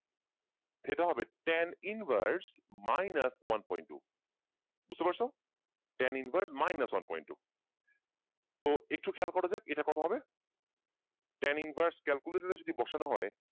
theta হবে tan inverse minus one point two বুঝতে পারছ? tan inverse minus one point two তো একটু খেয়াল করা যায় এটা কত হবে tan inverse calculator এ যদি বসানো হয়,